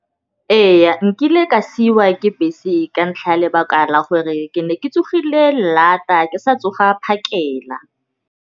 Ee, nkile ka siwa ke bese ka ntlha ya lebaka la gore ke ne ke tsogile lata ke sa tsoga phakela.